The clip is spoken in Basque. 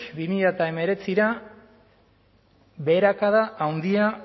bi mila hemeretzira beherakada handia